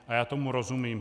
A já tomu rozumím.